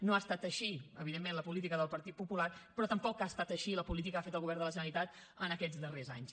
no ha estat així evidentment la política del partit popular però tampoc ha estat així la política que ha fet el govern de la generalitat en aquests darrers anys